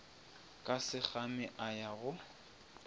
ka sekgame a ya go